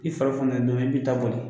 I fari don min i b'i ta boli